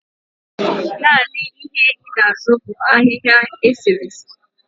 naanị ịnye i na-azụ bu ahịhịa eserese?